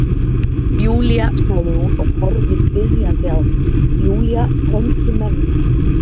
Júlía sagði hún og horfði biðjandi á mig, Júlía komdu með mér.